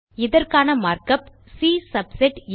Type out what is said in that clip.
இதற்கான mark of C subset ah